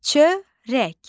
Çörək.